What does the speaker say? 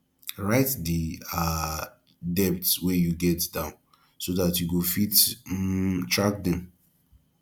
write di um debts wey you get down so dat you go fit um track dem